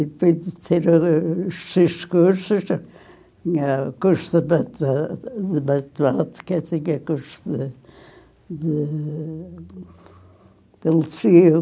Depois de ter o os seus cursos, tinha tinha curso da de matemática, tinha curso de... de... de.